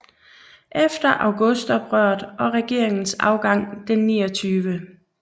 Efter Augustoprøret og regeringens afgang den 29